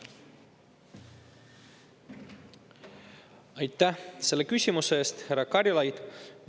Aitäh selle küsimuse eest, härra Karilaid!